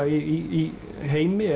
í heimi